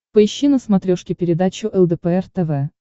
поищи на смотрешке передачу лдпр тв